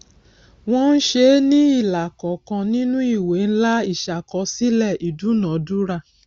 wọn ṣe é ní ilà kọọkan nínú ìwé ńlá ìṣàkọsílẹ ìdúnadúrà